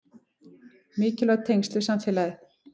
Mikilvæg tengsl við samfélagið